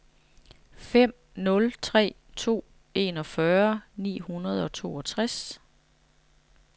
fem nul tre to enogfyrre ni hundrede og toogtres